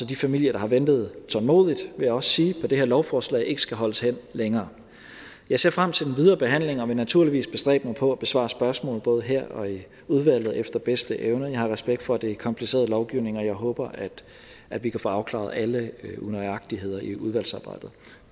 de familier der har ventet tålmodigt vil jeg også sige på det her lovforslag ikke skal holdes hen længere jeg ser frem til den videre behandling og vil naturligvis bestræbe mig på at besvare spørgsmål både her og i udvalget efter bedste evne jeg har respekt for at det er kompliceret lovgivning og jeg håber at vi kan få afklaret alle unøjagtigheder i udvalgsarbejdet